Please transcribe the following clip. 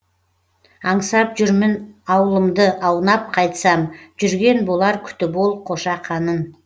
аңсап жүрмін аулымды аунап қайтсам жүрген болар күтіп ол қошақанын